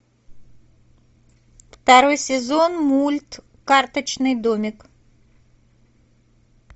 второй сезон мульт карточный домик